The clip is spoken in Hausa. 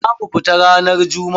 Za mu fita ranar jummu'a.